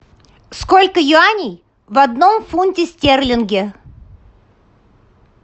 сколько юаней в одном фунте стерлинге